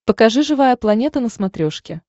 покажи живая планета на смотрешке